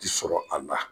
Ti sɔrɔ a la